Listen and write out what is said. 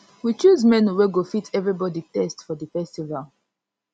we choose menu wey go fit everybody taste for di festival